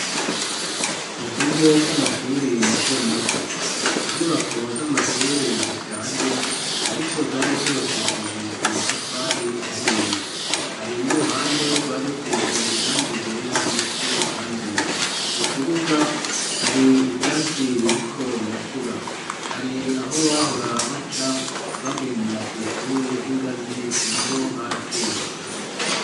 Mu kigo c'amashure matomato, inyubako z'amashure zishaje ariko zari zubakishije amatafari ahiye. Hari n'uruhande rwari rusize irangi ryera ni uko ryanduye. Mu kibuga hari ivyatsi biriko birakura, hari aho bahora baca, bagenda kw'ishure h'ingazi n'aho harasenyutse.